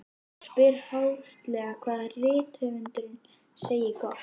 Og spyr háðslega hvað rithöfundurinn segi gott.